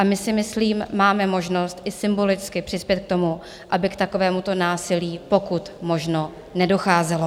A my si myslím máme možnost i symbolicky přispět k tomu, aby k takovémuto násilí pokud možno nedocházelo.